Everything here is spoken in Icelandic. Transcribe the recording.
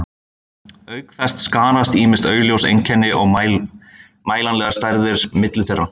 Auk þess skarast ýmis augljós einkenni og mælanlegar stærðir milli þeirra.